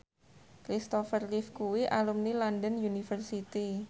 Kristopher Reeve kuwi alumni London University